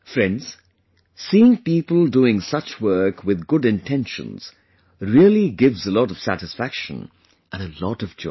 Friends, seeing people doing such work with good intentions really gives a lot of satisfaction and a lot of joy